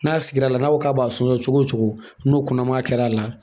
N'a sigira la n'a ko k'a b'a sɔn cogo o cogo n'o kɔnɔma kɛra a la